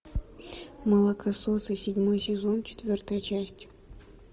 молокососы седьмой сезон четвертая часть